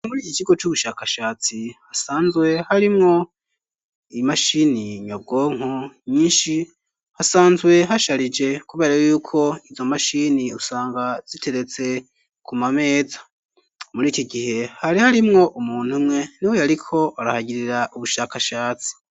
Muri iki kigo c'ubushakashatsi hasanzwe harimwo imashini nyabwonko nyinshi, hasanzwe hasharije kubera yuko izo mashini usanga ziteretse ku mameza, muri iki gihe hari harimwo umuntu umwe ni we yariko arahagirira ubushakashatsi.